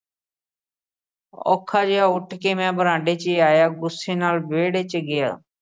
ਔਖਾ ਜਾ ਉੱਠ ਕੇ ਮੈਂ ਬਰਾਂਡੇ 'ਚ ਆਇਆ ਗੁੱਸੇ ਨਾਲ ਵਿਹੜੇ 'ਚ ਗਿਆ।